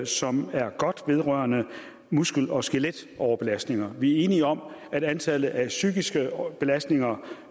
som er godt vedrørende muskel og skeletoverbelastninger vi er enige om at antallet af psykiske belastninger